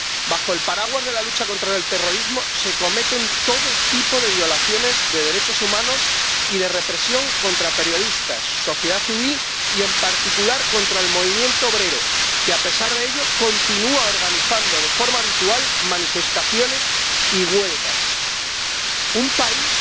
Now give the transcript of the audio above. Bajo el paraguas de la lucha contra el terrorismo se cometen todo tipo de violaciones de derechos humanos y de actos de represión contra periodistas, sociedad civil y, en particular, contra el movimiento obrero, que, a pesar de ello, continúa organizando de forma habitual manifestaciones y huelgas. Un país